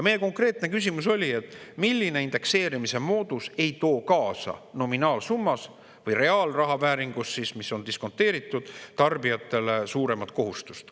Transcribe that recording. Meie konkreetne küsimus oli, milline indekseerimise moodus ei too tarbijatele kaasa nominaalsummas või reaalraha vääringus, mis on diskonteeritud, suuremat kohustust.